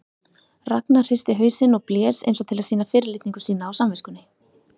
Ragnar hristi hausinn og blés eins og til að sýna fyrirlitningu sína á samviskunni.